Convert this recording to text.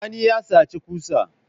Sani ya saci ƙusa